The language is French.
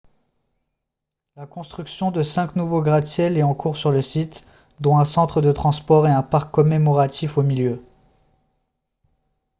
la construction de cinq nouveaux gratte-ciels est en cours sur le site dont un centre de transport et un parc commémoratif au milieu